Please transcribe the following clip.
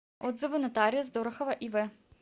отзывы нотариус дорохова ив